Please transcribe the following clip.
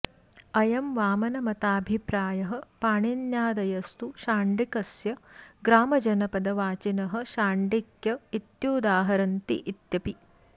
अयं वामनमताभिप्रायः पाणिन्यादयस्तु शाण्डिकस्य ग्रामजनपदवाचिनः शाण्डिक्य इत्युदाहरन्ति इत्यपि